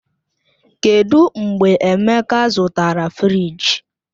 Kedụ mgbe Emeka zụtara fịrij?